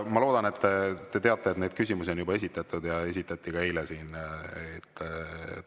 Ma loodan, et te teate, et neid küsimusi on siin juba esitatud ja esitati ka eile.